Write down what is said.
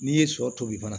N'i ye sɔ tobi fana